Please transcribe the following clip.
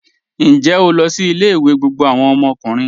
Ǹjẹ́ o lọ sí ilẹ̀-ìwé gbogbo awọn ọmọkùnrin?